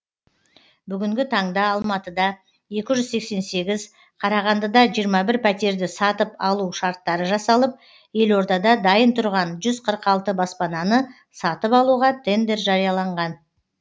бүгінгі таңда алматыда екі жүз сексен сегіз қарағандыда жиырма бір пәтерді сатып алу шарттары жасалып елордада дайын тұрған жүз қырық алты баспананы сатып алуға тендер жарияланған